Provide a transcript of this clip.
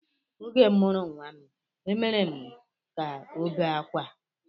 Oge m mụrụ nnwa m, e mere ka ọ bee akwa